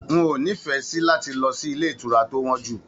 N o n'ifẹ sí láti lọ sí ilé ìtura to wọn jú.